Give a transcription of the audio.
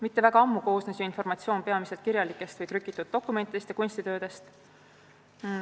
Mitte kuigi ammu koosnes ju informatsioon peamiselt käega kirjutatud või trükitud dokumentidest ja kunstitöödest.